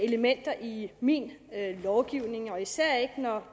elementer i min lovgivning og især ikke når